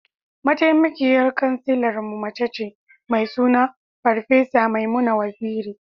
Mataimakiyar Kansilarmu mace ce, mai suna Farfesa Maimuna Waziri.